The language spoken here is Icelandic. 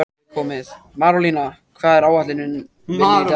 Marólína, hvað er á áætluninni minni í dag?